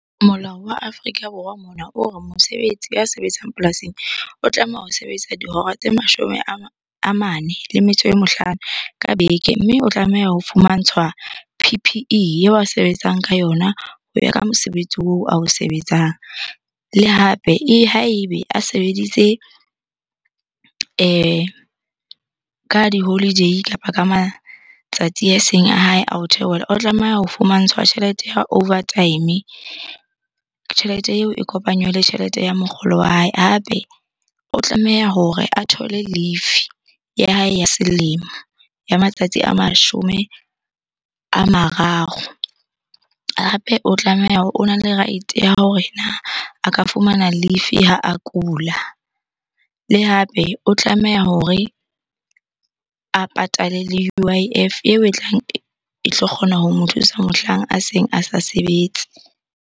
Molao wa Afrika Borwa mona o re mosebetsi ya sebetsang polasing o tlameha ho sebetsa dihora tse mashome a mane le metso e mehlano ka beke. Mme o tlameha ho fumantshwa P_P_E eo a sebetsang ka yona ho ya ka mosebetsi oo ao sebetsang. Le hape ha ebe a sebeditse ka di-holiday kapa ka matsatsi a seng a hae a ho theohela, o tlameha ho fumantshwa tjhelete ya overtime. Tjhelete eo e kopanywe le tjhelete ya mokgolo wa hae. Hape o tlameha hore a thole leave ya hae ya selemo, ya matsatsi a mashome a mararo. Hape o tlameha hore, ona le right-e ya hore a ka fumana leave ha a kula. Le hape o tlameha hore a patale le U_I_F eo e tlang e tlo kgona ho mo thusa mohlang a seng a sa sebetse.